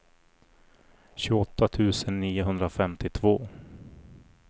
tjugoåtta tusen niohundrafemtiotvå